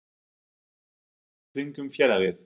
Er öldurnar að lægja í kringum félagið?